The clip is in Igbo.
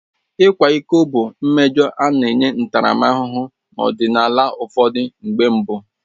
Ịkwa iko bụ mmejọ a na-enye ntaramahụhụ n'ọdịnala ụfọdụ mgbe mbụ.